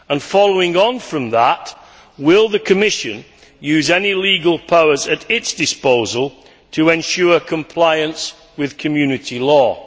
Following on from that, will the Commission use any legal powers at its disposal to ensure compliance with Community law?